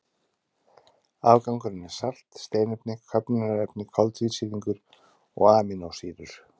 Afgangurinn er salt, steinefni, köfnunarefni, koltvísýringur og amínósýrur.